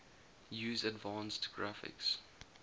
use advanced graphics